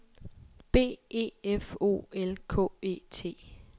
B E F O L K E T